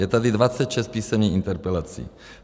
Je tady 26 písemných interpelací.